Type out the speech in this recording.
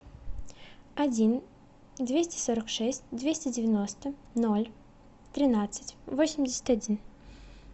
один двести сорок шесть двести девяносто ноль тринадцать восемьдесят один